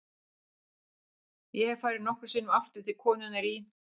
Ég hef farið nokkrum sinnum aftur til konunnar í